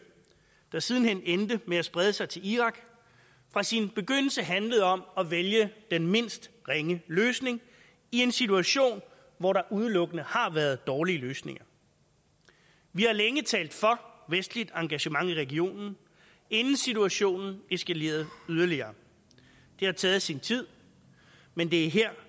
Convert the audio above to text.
der siden hen endte med at sprede sig til irak fra sin begyndelse handlet om at vælge den mindst ringe løsning i en situation hvor der udelukkende har været dårlige løsninger vi har længe talt for vestligt engagement i regionen inden situationen eskalerede yderligere det har taget sin tid men vi